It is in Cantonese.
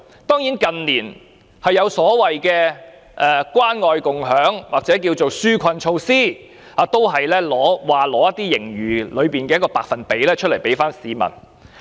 當然，近年有關愛共享計劃或一些紓困的措施，政府說會撥出盈餘中的某個百分比給市民。